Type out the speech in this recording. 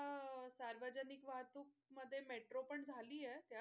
सार्वजनिक वाहतूक मध्ये मेट्रो पण झालीये.